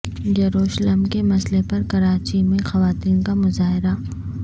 یروشلم کے مسئلے پر کراچی میں خواتین کا مظاہرہ